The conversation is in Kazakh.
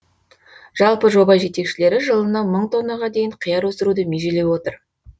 жалпы жоба жетекшілері жылына мың тоннаға дейін қияр өсіруді межелеп отыр